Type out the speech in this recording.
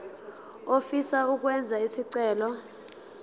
ofisa ukwenza isicelo